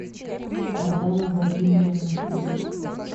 богдана владимировна хмелевская